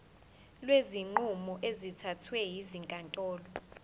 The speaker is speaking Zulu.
kwezinqumo ezithathwe ezinkantolo